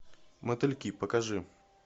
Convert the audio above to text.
мотыльки покажи